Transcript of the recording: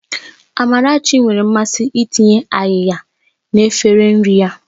Amarachi nwere mmasị itinye áyiya na efere nri ya